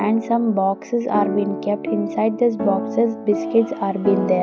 and some boxes are been kept inside this boxes biscuits are been there.